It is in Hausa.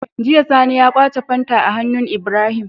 Jiya sani ya kwace fanta a hannun Ibrahim